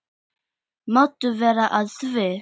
Máttu vera að því?